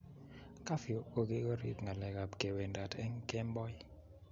kafyu ko kigorib ngalek ab ke wendat eng kemboi